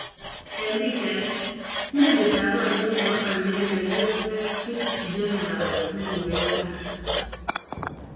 en Pichait: melit ap parieet nepo amerika USS Fitzgerald negiwechag